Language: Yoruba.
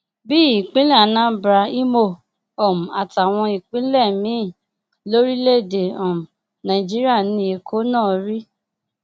bíi ìpínlẹ anambra imo um àtàwọn ìpínlẹ míín lórílẹèdè um nàìjíríà ni èkó náà rí